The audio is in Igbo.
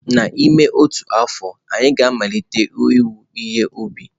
N'ime otu afọ, anyị ga-amalite iwe ihe ubi.